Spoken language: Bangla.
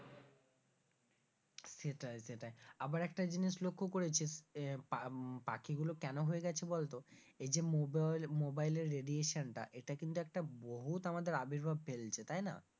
সেটাই সেটাই আবার একটা জিনিস লক্ষ্য করেছিস, আহ পাখিগুলো কেন হয়ে গেছে বলতো এই যে mobile এর radiation টা এটা কিন্তু একটা বহুৎ আমাদের আবির্ভাব ফেলছে তাই না?